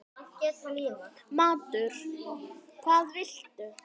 Matur: Hvað viltu?